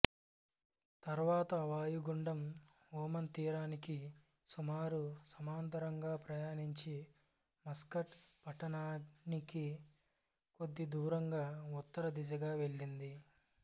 తరువాత వాయుగుండం ఒమన్ తీరానికి సుమారు సమాంతరంగా ప్రయాణించి మస్కట్ పట్టణానికి కొద్ది దూరంగా ఉత్తర దిశగా వెళ్ళింది